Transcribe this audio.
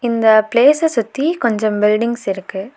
இந்த பிளேஸ்ஸ சுத்தி கொஞ்சம் பில்டிங்ஸ் இருக்கு.